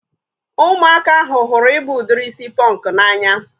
Ụmụaka ahụ hụrụ ịbụ udiri isi pọnkụ n'anya